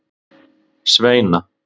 Sveina